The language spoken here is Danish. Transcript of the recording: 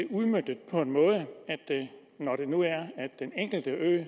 udmøntet på den måde at når den enkelte ø